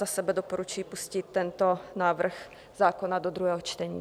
Za sebe doporučuji pustit tento návrh zákona do druhého čtení.